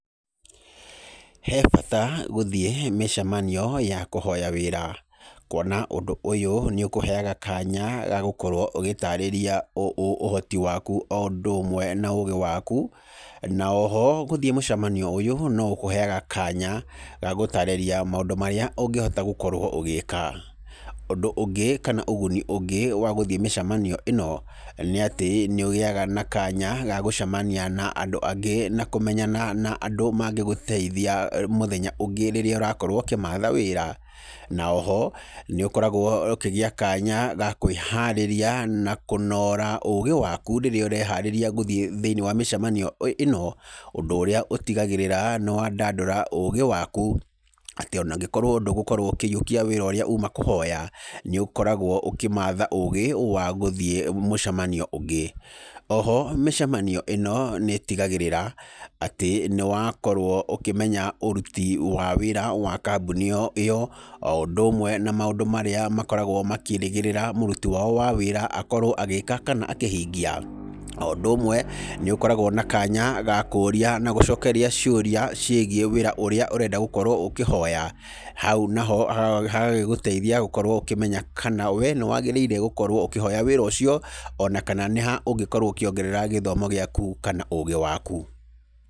He bata gũthiĩ mĩcemanio ya kũhoya wĩra, kuona ũndũ ũyũ nĩ ũkũheaga kanya ga gũkorwo ũgĩtaarĩria ũ ũ ũhoti waku o ũndũ ũmwe na ũũgĩ waku, na o ho gũthiĩ mũcemanio ũyũ no gũkũheaga kanya ga gũtarĩria maũndũ marĩa ũngĩhota gũkorwo ũgĩka. Ũndũ ũngĩ kana ũguni ũngĩ wa gũthiĩ mĩcemanio ĩno nĩ atĩ nĩ ũgĩaga na kanya ga gũcemania na andũ angĩ na kũmenyana na andũ mangĩgũteithia mũthenya ũngĩ rĩrĩa Urakorwo ũkĩmatha wĩra. Na o ho, nĩ ũkoragwo ũkĩgĩa kanya ga kwĩharĩria na kũnoora ũũgĩ waku rĩrĩa ũreharĩria gũthiĩ thĩini wa mĩcemanio ĩno, ũndũ ũrĩa ũtigagĩrĩra nĩ wandadũra ũũgĩ waku, atĩ ona ũngĩkorwo ndũgugũkorwo ũkĩiyũkia wĩra ũríĩ uuma kũhoya, nĩ ũkoragwo ũkĩmatha ũũgĩ wa gũthiĩ mũcemanio ũngĩ. O ho mĩcemanio ĩno nĩ ĩtigagĩrĩra atĩ nĩ wakorwo ũkĩmenya ũruti wa wĩra wa kambuni ĩyo, o ũndũ ũmwe na maũndũ marĩa makoragwo makĩĩrĩgĩrĩra muruti wao wa wĩra akorwo agĩĩka kana akĩhingia. O ũndũ ũmwe, nĩ ũkoragwo na kanya ga kũũria na gũcokeria ciũria ciĩgiĩ wĩra ũrĩa ũrenda gũkorwo ũkĩhoya. Hau naho hagagĩgũteithia gũkorwo ũkĩmenya kana we nĩ wagĩrĩire gũkorwo ũkĩhoya wĩra ũcio, o na kana nĩ ha ũngĩkorwo ũkĩongerera gĩthomo gĩaku kana ũũgĩ waku.